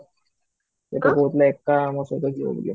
ସେ ତ କହୁଥିଲ ଏକା ମୋ ସହିତ ଯିବ ବୋଲି